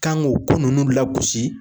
Kan k'o ko ninnu lagosi